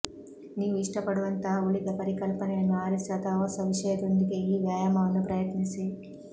ನೀವು ಇಷ್ಟಪಡುವಂತಹ ಉಳಿದ ಪರಿಕಲ್ಪನೆಯನ್ನು ಆರಿಸಿ ಅಥವಾ ಹೊಸ ವಿಷಯದೊಂದಿಗೆ ಈ ವ್ಯಾಯಾಮವನ್ನು ಪ್ರಯತ್ನಿಸಿ